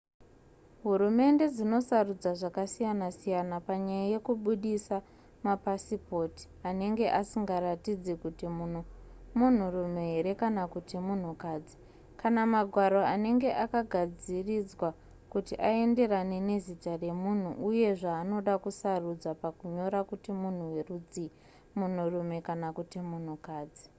hurumende dzinosarudza zvakasiyana-siyana panyaya yekubudisa mapasipoti anenge asingaratidzi kuti munhu munhurume here kana kuti munhukadzi kana magwaro anenge akagadziridzwa kuti aenderane nezita remunhu uye zvaanoda kusarudza pakunyora kuti munhu werudzii munhurume kana kuti munhukadzi